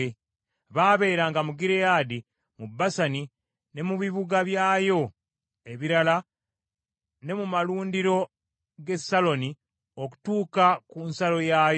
Baabeeranga mu Gireyaadi, mu Basani, ne mu bibuga byayo ebirala ne mu malundiro g’e Saloni okutuuka ku nsalo yaayo.